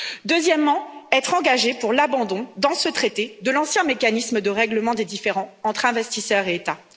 Deuxièmement, être engagé pour l'abandon, dans ce traité, de l'ancien mécanisme de règlement des différends entre investisseurs et États.